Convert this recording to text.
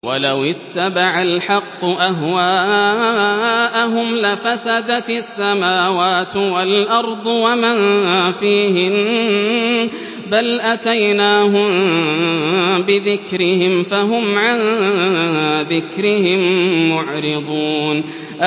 وَلَوِ اتَّبَعَ الْحَقُّ أَهْوَاءَهُمْ لَفَسَدَتِ السَّمَاوَاتُ وَالْأَرْضُ وَمَن فِيهِنَّ ۚ بَلْ أَتَيْنَاهُم بِذِكْرِهِمْ فَهُمْ عَن ذِكْرِهِم مُّعْرِضُونَ